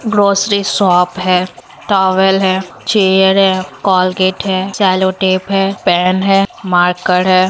Grocery shop है towel है chair है कोलगेट है सेलो टेप है पैन है मार्कर है।